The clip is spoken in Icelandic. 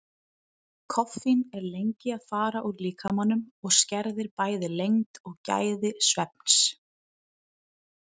Koffín er lengi að fara úr líkamanum og skerðir bæði lengd og gæði svefns.